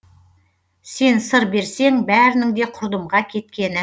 сен сыр берсең бәрінің де құрдымға кеткені